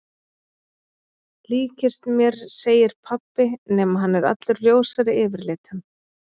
Líkist mér segir pabbi nema hann er allur ljósari yfirlitum.